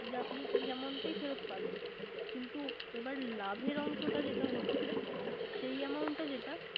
যে আপনি এই Amount টাই ফেরত পাবেন। কিন্তু এবার লাভের অংশটা যেটা হচ্ছে। সেই Amount